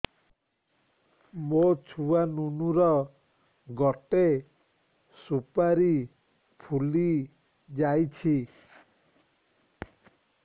ମୋ ଛୁଆ ନୁନୁ ର ଗଟେ ସୁପାରୀ ଫୁଲି ଯାଇଛି